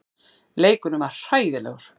Leikurinn var hræðilegur.